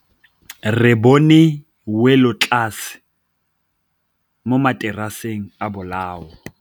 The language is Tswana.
Re bone wêlôtlasê mo mataraseng a bolaô.